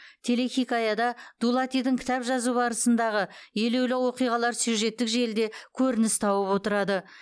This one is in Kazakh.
телехикаяда дулатидің кітап жазу барысындағы елеулі оқиғалар сюжеттік желіде көрініс тауып отырады